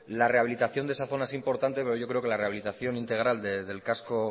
la rehabilitación de esa zona es importante porque yo creo que la rehabilitación integral del casco